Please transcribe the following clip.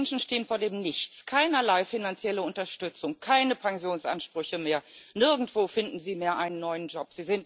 alle diese Menschen stehen vor dem Nichts, keinerlei finanzielle Unterstützung, keine Pensionsansprüche mehr, nirgendwo finden sie mehr einen neuen Job.